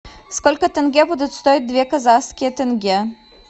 сколько тенге будут стоить две казахские тенге